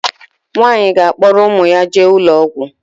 Nwaanyi ga akporo umu ya jee ulo ogwu